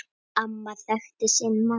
Amma þekkti sinn mann.